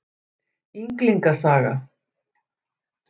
Ynglinga saga.